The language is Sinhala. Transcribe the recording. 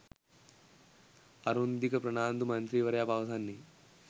අරුන්දික ප්‍රනාන්දු මන්ත්‍රීවරයා පවසන්නේ